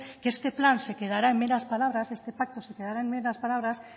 que este plan se quedará en meras palabras este pacto se quedará en meras palabras